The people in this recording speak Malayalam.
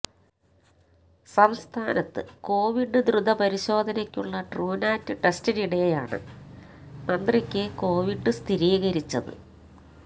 സംസ്ഥാനത്ത് കൊവിഡ് ദ്രുത പരിശോധനക്കുള്ള ട്രുനാറ്റ് ടെസ്റ്റിനിടെയാണ് മന്ത്രിക്ക് കോവിഡ് സ്ഥിരീകരിച്ചത്